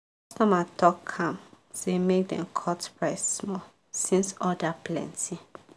customer talk calm say make dem cut price small since order plenty.